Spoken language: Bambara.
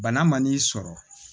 Bana man n'i sɔrɔ